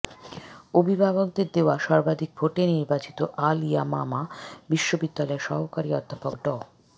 অভিভাববকদের দেয়া সর্বাধিক ভোটে নির্বাচিত আল ইয়ামামা বিশ্ববিদ্যালয়ের সহকারী অধ্যাপক ড